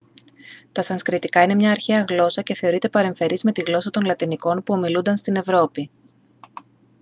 τα σανσκριτικά είναι μια αρχαία γλώσσα και θεωρείται παρεμφερής με τη γλώσσα των λατινικών που ομιλούνταν στην ευρώπη